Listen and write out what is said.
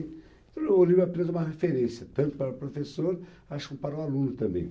O livro é apenas uma referência, tanto para o professor acho que para o aluno também.